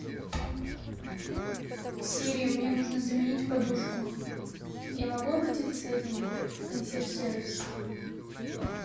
сири мне нужно заменить подушку я могу обратиться с этим в консьерж сервис